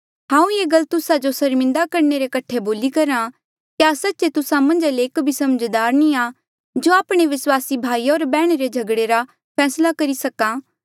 हांऊँ ये गल तुस्सा जो सर्मिन्दा करणे रे कठे बोली करहा क्या सच्चे तुस्सा मन्झा ले एक भी समझदार नी आ जो आपणे विस्वासी भाईया होर बैहणा रे झगड़े रा फैसला करी सका